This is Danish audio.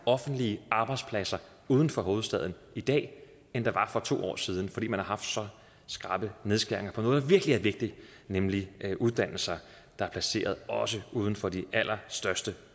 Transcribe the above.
offentlige arbejdspladser uden for hovedstaden i dag end der var for to år siden fordi man har haft så skrappe nedskæringer på noget der virkelig er vigtigt nemlig uddannelser der er placeret også uden for de allerstørste